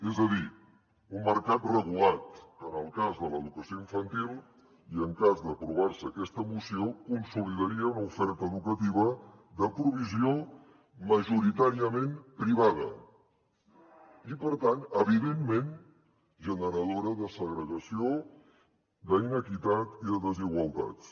és a dir un mercat regulat que en el cas de l’educació infantil i en cas d’aprovar se aquesta moció consolidaria una oferta educativa de provisió majoritàriament privada i per tant evidentment generadora de segregació d’inequitat i de desigualtats